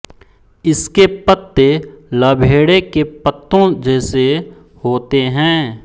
इसके पत्ते लभेड़े के पत्तों जैसे होते हैं